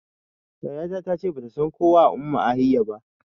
Yaya ta ta ce bata san kowa a Umuahia ba